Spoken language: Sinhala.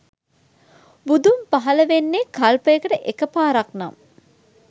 බුදුන් පහල වෙන්නේ කල්පයකට එක පාරක් නම්